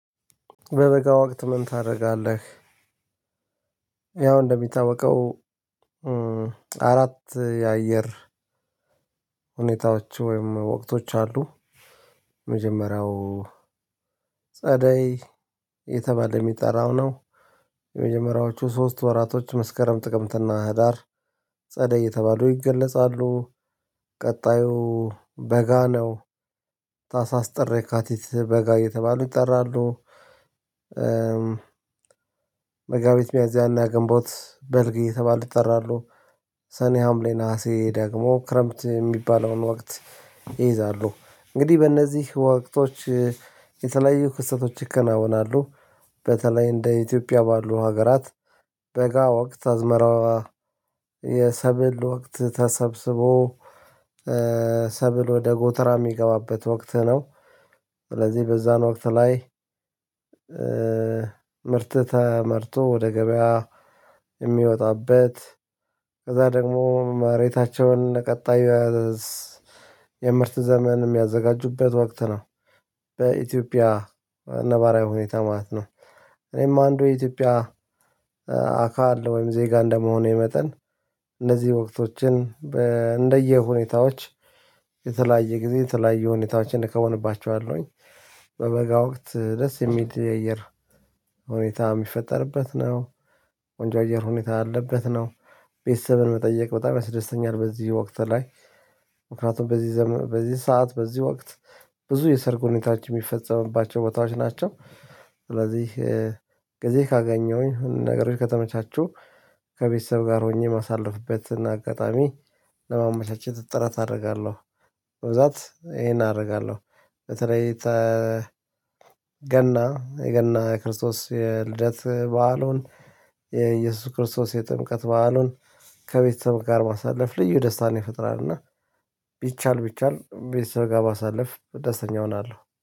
በበጋ ወቅት ምን ታደርጋለህ? ያው እንደሚታወቀው አራት የአየር ሁኔታዎች ወይም ወቅቶች አሉ። መጀመሪያው ጸደይ የተባለ የሚጠራው ነው። የመጀመሪያዎቹ ሶስት ወራቶች መስከረም ጥቅምትና ህዳር ጸደይ የተባሉ ይገለጻሉ። ቀጣዩ በጋ ነው ታህሳስ ጠር የካቲት በጋ የተባሉ ይጠራሉ። መጋቢት ሚያዝያና ግንቦት በልግ እየተባሉ ይጠራሉ። ሰኔ ሀምሌ ነሀሴ ደግሞ ክረምት ሚባለውን ወቅት ይይዛሉ። እንግዲህ በእነዚህ ወቅቶች የተለያዩ ክስተቶች ይከናወናሉ። በተለይ እንደ ኢትዮጵያ ባሉ ሀገራት በጋ ወቅት አዝመራ የሰብል ወቅት ተሰብስቦ ሰብል ወደ ጎተራ ሚገባበት ወቅት ነው። ስለዚህ በዛን ወቅት ላይ ምርት ተመርቶ ወደ ገበያ ሚወጣበት ከዛ ደግሞ መሬታቸውን ቀጣዩ የምርት ዘመን ሚያዘጋጁበት ወቅት ነው። በኢትዮጵያ ነባራዊ ሁኔታ ማለት ነው። እኔም አንዱ የኢትዮጵያ አካል ወይም ዜጋ እንደመሆኔ መጠን እነዚህ ወቅቶችን እንደ የሁኔታዎች የተለያየ ጊዜ የተለያየ ሁኔታዎችን እከውንባቸዋለሁኝ። በበጋ ወቅት ደስ የሚል የአየር ሁኔታ ሚፈጠርበት ነው ቆንጆ የአየር ሁኔታ አለበት ነው። ቤተሰብን መጠየቅ በጣም ያስደስተኛል በዚህ ወቅት ላይ ምክንያቱም በዚህ ዘመን በዚህ ሰዓት በዚህ ወቅት ብዙ የሰርግ ሁኔታዎች ሚፈጸምባቸው ቦታዎች ናቸው። ስለዚህ ጊዜ ካገኘሁኝ ነገሮች ከተመቻቹ ከቤተሰብ ጋር ሆኜ ማሳለፍበት እና አጋጣሚ ለማመቻቸት ጥረት አደርጋለሁ። በብዛት ይሄን አደርጋለሁ። በተለይ ገና የገና የክርስቶስ የልደት በዓሉን የኢየሱስ ክርስቶስ የጥምቀት በዓሉን ከቤተሰብ ጋር ማሳለፍ ልዩ ደስታን ይፈጥራልና። ቢቻል ቢቻል ቤተሰብ ጋር ማሳለፍ ደስተኛ እሆናለሁ